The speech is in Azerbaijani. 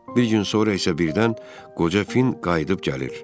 Bir gün sonra isə birdən qoca Finn qayıdıb gəlir.